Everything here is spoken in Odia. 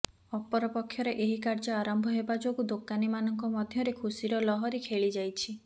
ଅପରପକ୍ଷରେ ଏହି କାର୍ଯ୍ୟ ଆରମ୍ଭ ହେବା ଯୋଗୁ ଦୋକାନୀ ମାନଙ୍କ ମଧ୍ୟରେ ଖୁସିର ଲହରୀ ଖେଳି ଯାଇଛି